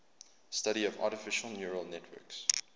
the study of artificial neural networks